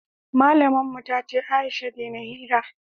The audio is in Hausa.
malamin mu ta ce Aisha dena hira